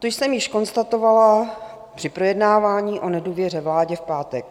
To jsem již konstatovala při projednávání o nedůvěře vládě v pátek.